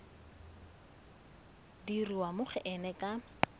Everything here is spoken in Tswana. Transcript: dirwa mo go ena ka